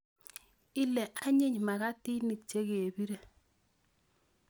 Ile anyiny makatinik chekebire.